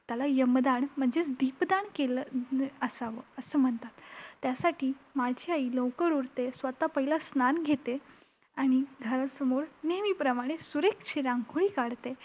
त्याला यमदान म्हणजे दीप दान केलं असावं असं म्हणतात. त्यासाठी माझी आई लवकर उठते, स्वतः पहिलं स्नान घेते आणि घरासमोर नेहेमीप्रमाणे सुरेख अशी रांगोळी काढते.